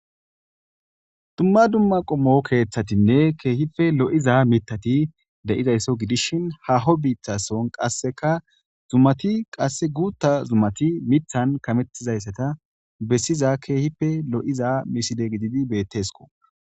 dumma dumma qommo keeththatinne keehife lo7iza mitati de7idaysso gidishin haho biitthason qasseka zumati qasse guutta zumati mithan kamettizayssata bessiza keehipe lo7iza miside gididi bettesko